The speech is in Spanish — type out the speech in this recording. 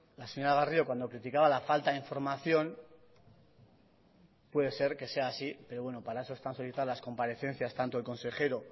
la señora garrido cuando criticaba la falta de información puede ser que sea así pero bueno para eso están solicitadas las comparecencias tanto de consejero